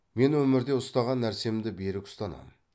мен өмірде ұстаған нәрсемді берік ұстанам